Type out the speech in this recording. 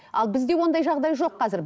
ал бізде ондай жағдай жоқ қазір